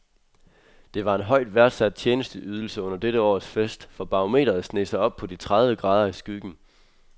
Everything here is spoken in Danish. Det var en højt værdsat tjenesteydelse under dette års fest, for barometret sneg sig op på de tredive grader i skyggen.